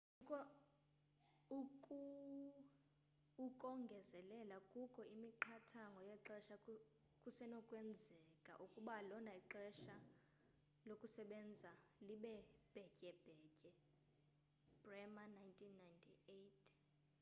ukongezelela kukho imiqathango yexesha kusenokwenzeka ukuba lona ixesha lokusebenza libe bhetyebhetye. bremer 1998